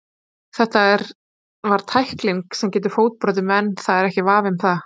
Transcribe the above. Þetta var tækling sem getur fótbrotið menn, það er ekki vafi um það.